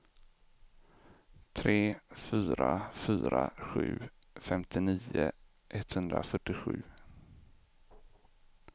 tre fyra fyra sju femtionio etthundrafyrtiosju